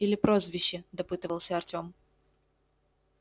или прозвище допытывался артём